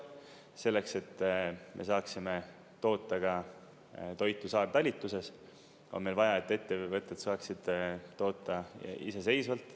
Selleks, et me saaksime toota ka toitu saartalitluses, on meil vaja, et ettevõtjad saaksid toota iseseisvalt.